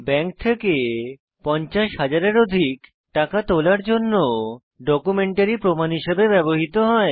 bank থেকে 50000 এর অধিক টাকা তোলার জন্য ডকুমেন্টারী প্রমাণ হিসেবে ব্যবহৃত হয়